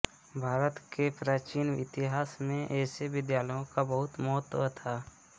भारत के प्राचीन इतिहास में ऐसे विद्यालयों का बहुत महत्व था